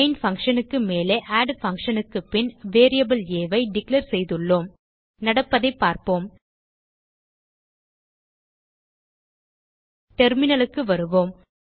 main function க்கு மேலே add function க்கு பின் வேரியபிள் ஆ ஐ டிக்ளேர் செய்துள்ளோம் நடப்பதைப் பார்ப்போம் டெர்மினல் க்கு வருவோம்